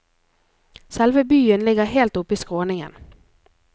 Selve byen ligger helt oppe i skråningen.